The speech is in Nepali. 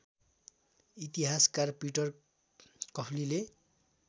इतिहासकार पिटर कफलीले